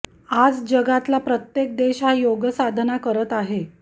आज जगातला प्रत्येक देश हा योगसाधना करत आहे